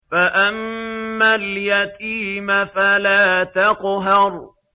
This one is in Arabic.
فَأَمَّا الْيَتِيمَ فَلَا تَقْهَرْ